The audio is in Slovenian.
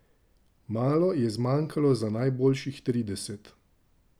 Malo je zmanjkalo za najboljših trideset.